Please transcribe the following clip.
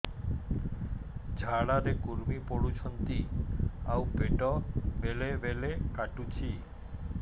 ଝାଡା ରେ କୁର୍ମି ପଡୁଛନ୍ତି ଆଉ ପେଟ ବେଳେ ବେଳେ କାଟୁଛି